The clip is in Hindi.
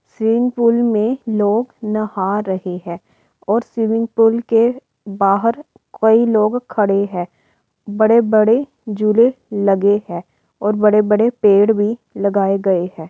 स्विमिंग पूल में लोग नहा रहे हैं और स्विमिंग पूल के बाहर कई लोग खड़े हैं। बड़े-बड़े झूले लगे हैं और बड़े-बड़े पेड़ भी लगाए गये हैं।